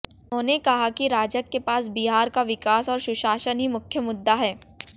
उन्होंने कहा कि राजग के पास बिहार का विकास और सुशासन ही मुख्य मुद्दा है